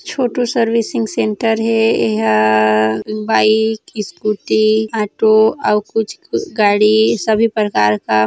छोटू servicing centre हे एहा आ बाइक स्कूटी ऑटो आऊ कुछ गाड़ी सभी परकार का--